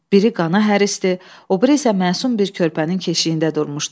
Biri qana hərisdir, o biri isə məsum bir körpənin keşiyində durmuşdu.